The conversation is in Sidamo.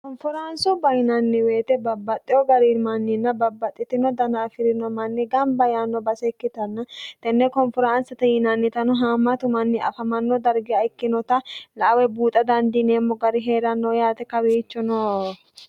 konforaansubba yinanni woyite babbaxitino nanninna babbaxitino gari manni gamba yaanno base ikkitanna tenne konforaansete yinannitano haammatu manni afamannota darga ikkinota buuxa danddiineemmo gari heeranno yaate kawiichono